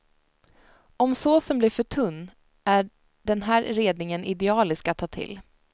Om såsen blir för tunn är den här redningen idealisk att ta till.